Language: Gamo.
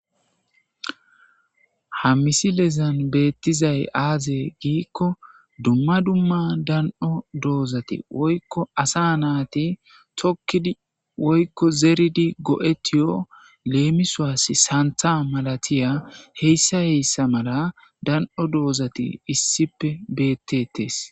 Ha missilezan bettizay aaze giiko dumma dumma dani'o dozzati woykko assa natti tokkidi go'ettiyo lemissos sanththa malatiya hessa hessa malla dani'o doozati issippe bettetes.